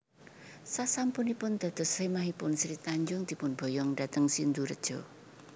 Sasampunipun dados semahipun Sri Tanjung dipun boyong dhateng Sindurejo